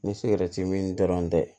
Ni sigɛrɛti mi dɔrɔn tɛ